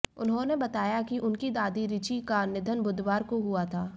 उन्होंने बताया कि उनकी दादी रिची का निधन बुधवार को हुआ था